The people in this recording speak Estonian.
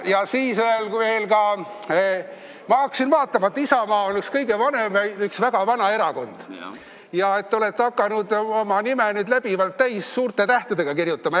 Ja siis veel ma hakkasin vaatama, et Isamaa on üks väga vana erakond ja et te olete hakanud oma nime nüüd läbivalt suurte tähtedega kirjutama.